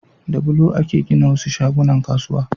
Da bulo ake gina wasu shagunnan kasuwa